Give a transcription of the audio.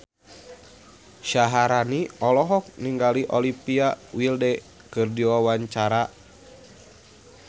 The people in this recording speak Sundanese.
Syaharani olohok ningali Olivia Wilde keur diwawancara